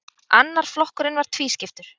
Annar flokkurinn var tvískiptur.